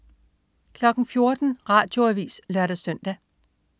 14.00 Radioavis (lør-søn)